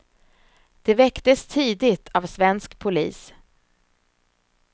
De väcktes tidigt av svensk polis.